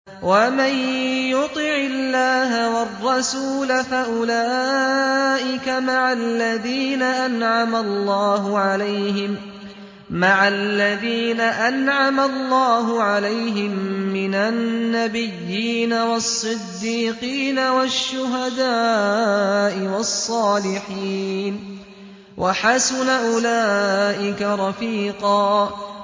وَمَن يُطِعِ اللَّهَ وَالرَّسُولَ فَأُولَٰئِكَ مَعَ الَّذِينَ أَنْعَمَ اللَّهُ عَلَيْهِم مِّنَ النَّبِيِّينَ وَالصِّدِّيقِينَ وَالشُّهَدَاءِ وَالصَّالِحِينَ ۚ وَحَسُنَ أُولَٰئِكَ رَفِيقًا